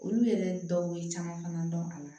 Olu yɛrɛ dɔw ye caman fana dɔn a la